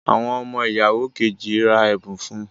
Awọn ọmọ ìyàwó Kejì rà ẹbun fún